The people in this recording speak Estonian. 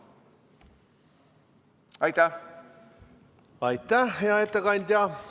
Aitäh, hea ettekandja!